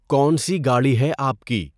کون سی گاڑی ہے آپ کی؟